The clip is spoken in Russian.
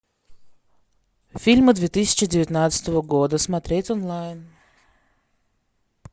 фильмы две тысячи девятнадцатого года смотреть онлайн